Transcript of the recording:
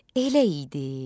Elə idi.